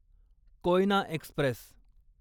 Koyna Express